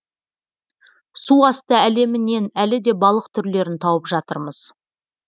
су асты әлемінен әлі де балық түрлерін тауып жатырмыз